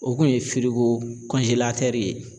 O kun ye ye.